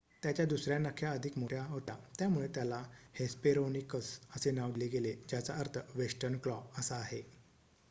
"त्याच्या दुसर्‍या नख्या अधिक मोठ्या होत्या त्यामुळे त्याला हेस्पेरोनिकस असे नाव दिले गेले ज्याचा अर्थ "वेस्टर्न क्लॉ" असा आहे.